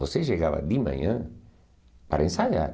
Você chegava de manhã para ensaiar.